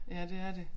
Ja det er det